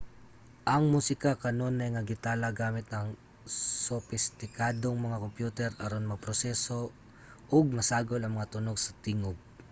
ang musika kanunay nga gitala gamit ang sopistikadong mga kompyuter aron maproseso ug masagol ang mga tunog sa tingub